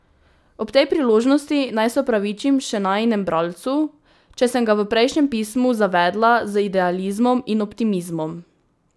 Ob tej priložnosti naj se opravičim še najinemu bralcu, če sem ga v prejšnjem pismu zavedla z idealizmom in optimizmom.